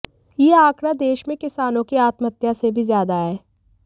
यह आंकड़ा देश में किसानों की आत्महत्या से भी ज्यादा है